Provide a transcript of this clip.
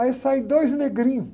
Aí saem dois negrinhos.